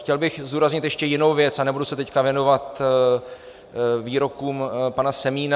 Chtěl bych zdůraznit ještě jinou věc, a nebudu se teď věnovat výrokům pana Semína.